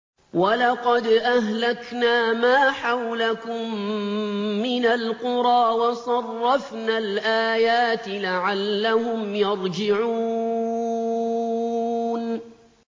وَلَقَدْ أَهْلَكْنَا مَا حَوْلَكُم مِّنَ الْقُرَىٰ وَصَرَّفْنَا الْآيَاتِ لَعَلَّهُمْ يَرْجِعُونَ